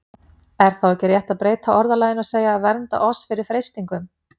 Er þá ekki rétt að breyta orðalaginu og segja: Vernda oss fyrir freistingum?